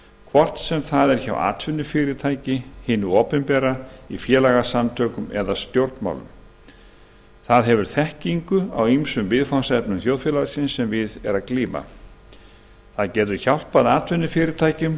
hvort sem það er hjá atvinnufyrirtæki hinu opinbera í félagasamtökum eða stjórnmálum það hefur þekkingu á ýmsum viðfangsefnum þjóðfélagsins sem við er að glíma og getur hjálpað atvinnufyrirtækjum